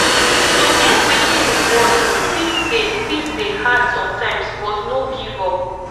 to get wetin we want fit dey fit dey hard sometimes but no give up